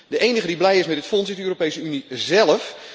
De enige die blij is met dit fonds, is de Europese Unie zelf.